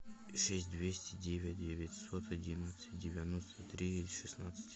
шесть двести девять девятьсот одиннадцать девяносто три шестнадцать